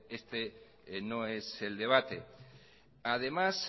este no es el debate además